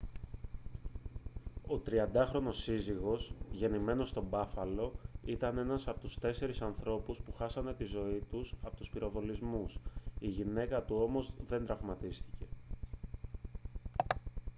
ο 30χρονος σύζυγος γεννημένος στο μπάφαλο ήταν ένας από τους τέσσερις ανθρώπους που χάσανε τη ζωή τους από τους πυροβολισμούς η γυναίκα του όμως δεν τραυματίστηκε